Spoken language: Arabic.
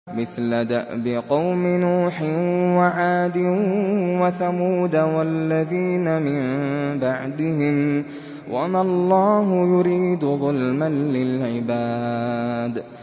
مِثْلَ دَأْبِ قَوْمِ نُوحٍ وَعَادٍ وَثَمُودَ وَالَّذِينَ مِن بَعْدِهِمْ ۚ وَمَا اللَّهُ يُرِيدُ ظُلْمًا لِّلْعِبَادِ